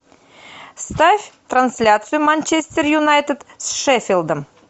ставь трансляцию манчестер юнайтед с шеффилдом